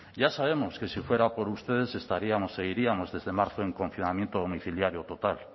ya sabemos que si fuera por ustedes estaríamos seguiríamos desde marzo en confinamiento domiciliario total